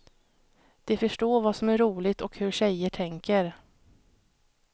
De förstår vad som är roligt och hur tjejer tänker.